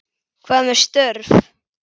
Hvað með störf?